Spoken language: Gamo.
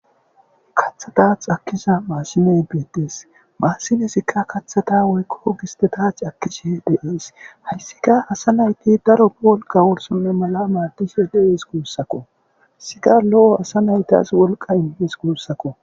kathata xakisa maassimey betdes maassimesikka kathata woykko gistetach akkishe deees hayssika asa nayti daro a wolqa worsonne mala maadishe deees guussakko sika lo7o asa naytas wolqa indees guussakko